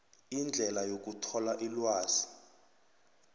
indlela yokuthola ilwazi